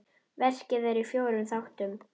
Verkið er í fjórum þáttum.